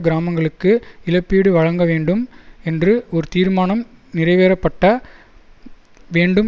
கிராமங்களுக்கு இழப்பீடு வழங்க வேண்டும் என்று ஒரு தீர்மானம் நிறைவேறப்பட்ட வேண்டும்